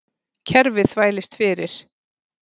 Kerfið þvælist fyrir